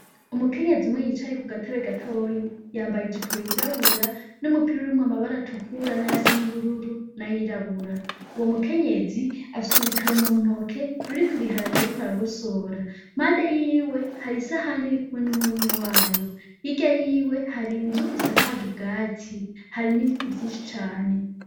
Umukenyezi umwe yicaye kugatebe gatoya yambaye ijipo yirabura n'umupira urimwo amabara atukura nayasa nubururu n'ayirabura uwo mukenyezi afise urutaro mu ntoki ruriko ibiharage ariko aragosora mpande yiwe hari isahani iriko numurumyo wayo hirya yiwe hari inzu isakaje ubgatsi hari nibiti vyinshi cane.